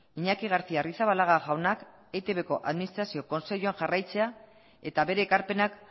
iñaki garcia arrizabalaga jaunak eitbko administrazio kontseiluan jarraitzea eta bere ekarpenak